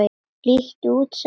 Líttu út sagði hann.